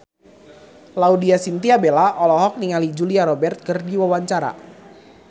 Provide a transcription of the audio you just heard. Laudya Chintya Bella olohok ningali Julia Robert keur diwawancara